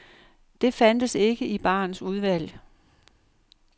Det fandtes ikke i barens udvalg.